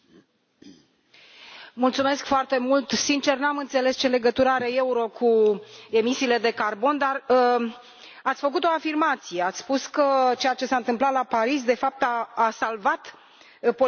Sincer, nu am înțeles ce legătură are euro cu emisiile de carbon, dar ați făcut o afirmație ați spus că ceea ce s a întâmplat la Paris, de fapt, a salvat politicienii. Puteți să explicați ce înseamnă asta?